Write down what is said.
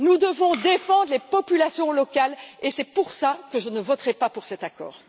Nous devons défendre les populations locales et c'est pour ça que je ne voterai pas pour cet accord.